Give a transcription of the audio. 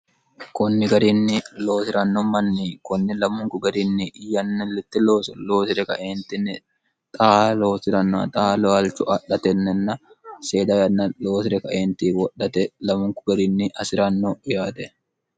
kunni garinni loosi'ranno manni kunni lamunku garinni iyltt ooso loosire kaeentinni xa loosi'ranno xa loyalchu adhatennenna seeda yanna loosire kaeenti wodhate lamunku garinni asi'ranno yaate